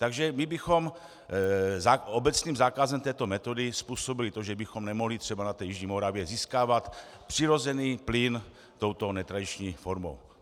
Takže my bychom obecným zákazem této metody způsobili to, že bychom nemohli třeba na té jižní Moravě získávat přirozený plyn touto netradiční formou.